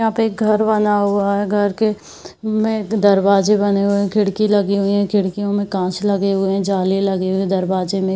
यहाँ पे घर बना हुआ है। घर के में दरवाजे बने हुए है। खिड़की लगी हुए हैं। खिड़कियों में कांच लगे हुए है। जाले लगे हुए दरवाजे में।